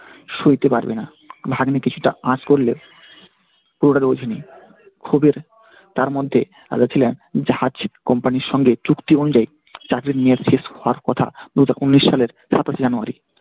সইতে পারবেনা। ভাগ্নে কিছুটা আঁচ করলে ক্ষোভের তার মধ্যে জাহাজ company র সঙ্গে চুক্তি অনুযায়ী যাদের নিয়োগ শেষ হওয়ার কথা উনিশ সালের সাতাশে january ।